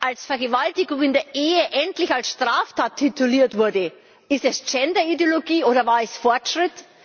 Als Vergewaltigung in der Ehe endlich als Straftat tituliert wurde war das Gender Ideologie, oder war es Fortschritt?